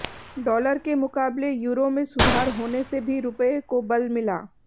dollar के मुकाबले euro में सुधार होने से भी रुपये को बल मिला